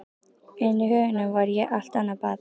En í huganum var ég allt annað barn.